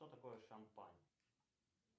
что такое шампань